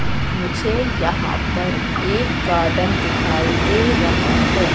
मुझे यहां पर एक गार्डन दिखाई दे रहा है।